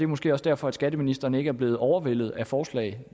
måske også derfor skatteministeren ikke er blevet overvældet af forslag